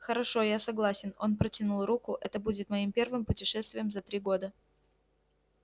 хорошо я согласен он протянул руку это будет моим первым путешествием за три года